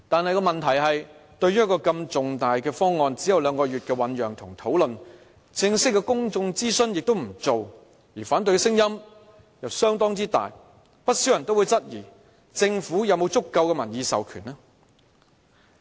然而，問題是，對於一個如此重大的方案，只有兩個月的醞釀及討論，亦沒有進行正式的公眾諮詢，反對聲音又相當大，不少人質疑政府有否足夠的民意授權。